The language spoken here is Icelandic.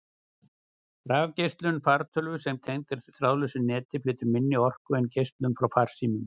Rafsegulgeislun fartölvu sem tengd er þráðlausu neti, flytur minni orku en geislun frá farsímum.